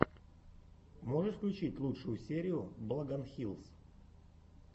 можешь включить лучшую серию блогонхилс